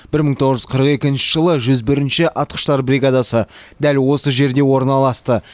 бір мың тоғыз жүз қырық екінші жылы жүз бірінші атқыштар бригадасы дәл осы жерде орналасты